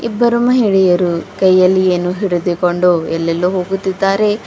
ಇಬ್ಬರು ಮಹಿಳೆಯರು ಕೈಯಲ್ಲಿ ಏನೋ ಹಿಡಿದುಕೊಂಡು ಎಲ್ಲೆಲ್ಲೋ ಹೋಗುತ್ತಿದಾರೆ.